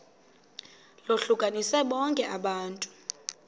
lohlukanise bonke abantu